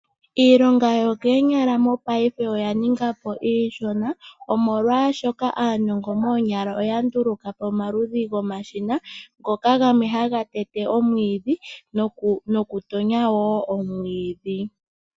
Iilonga yokoonyala mopaife oya ninga po iishona, molwaashono aanongo moonyala oya ndulukapo omashina, ngoka gamwe haga tete nokutonya omwiidhi.